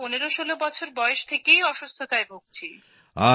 আমি তো ১৫১৬ বছর বয়স থেকেই অসুস্থায় ভুগছি